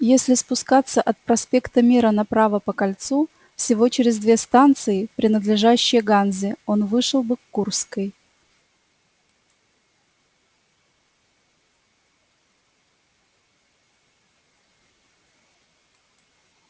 если спускаться от проспекта мира направо по кольцу всего через две станции принадлежащие ганзе он вышел бы к курской